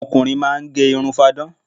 Àwọn ọkùnrin máá ń gẹ irun fáadán